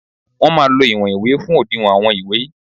Wọ́n máa lo ìwọ̀n ìwé fún òdiwọ̀n àwọn ìwé